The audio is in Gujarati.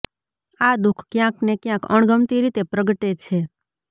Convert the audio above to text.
આ દુઃખ ક્યાંક ને ક્યાંક અણગમતી રીતે પ્રગટે છે